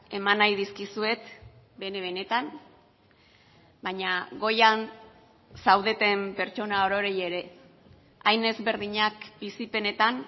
eman nahi dizkizuet bene benetan baina goian zaudeten pertsona orori ere hain ezberdinak bizipenetan